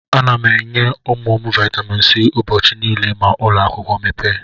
Ana m enye ụmụ m Vaitamin C ụbọchị niile ma ụlọakwụkwọ mepee.